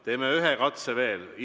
Teeme ühe katse veel.